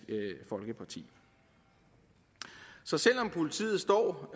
folkeparti så selv om politiet står